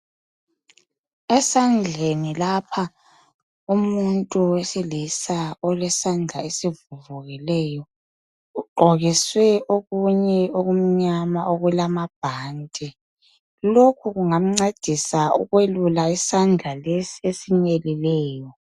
Esandleni lapha umuntu wesilisa ulesandla esivuvukileyo .Ugqokiswe okunye okumnyama okulamabhanti. Lokhu kungamncedisa ukwelula isandla lesi esinyelileyo.